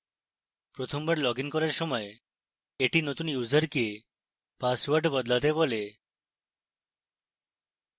প্রথমবার লগইন করার সময় এটি নতুন ইউসারকে পাসওয়ার্ড বদলাতে বলে